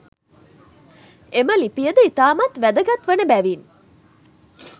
එම ලිපියද ඉතාමත් වැදගත් වන බැවින්